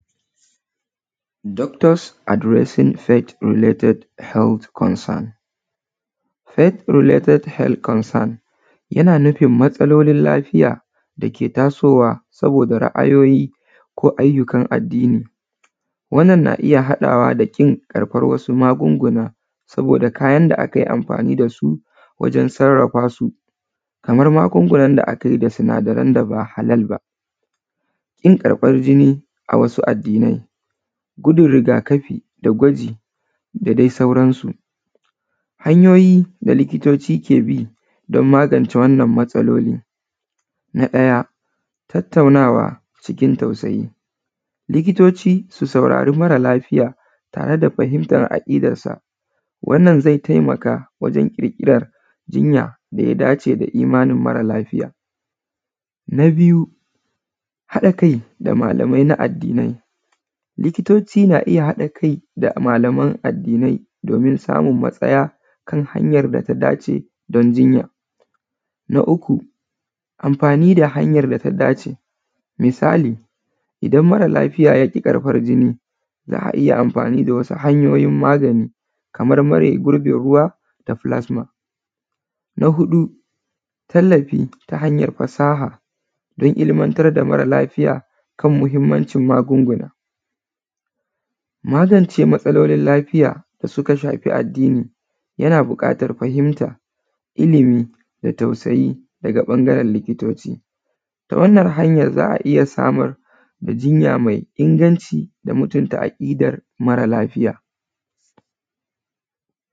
Doctors addressing pate lating health concern health relating health concern, yana nufin matsalolin lafiya da ke tasowa saboda ra’ayoyi ko ayyukan alheri, wannan na iya haɗawa kashin amsan kuɗi saboda kayan da akai anfani da su wajen sarrafasu kaman magungunan da sinadaran da aka haɗa kin karfan binin a wajen abu kaza, a wasu addinai kuɗin rigakafi gwaji da dai sauransu. Hanyoyi da likitoci don magance matsalolin na ɗaya tattaunawa cikin tausayi, likitoci su saurari mara lafiya tare da martaba aƙidansa, wannan zai taimaka wajen jigilan jinya da ya dace da imanin mara lafiya. Na biyu haɗin kai malami na addinin, likitoci na iya haɗin kai da malaman addinai dan samun matsaya kan hanyan da ta dace don jinya. Na uku anfani da hanyan da ta dace misali idan mara lafiya ya ƙi ƙarɓan jini za a iya anfani da wasu hanyoyin magani kaman mare gurbin ruwa da plasma, na huɗu tallafi na hanyan fasaha don ilmantar da mara lafiya kan muhinmancin magunguna. Magance matsalolin lafiya da suka shafi addini yana buƙatan fahimta, ilimi da tausayi daga ɓangaren likitoci ta wannan hanyan za a iya samun jinya mai inganci da mutinta aƙidar mara lafiya.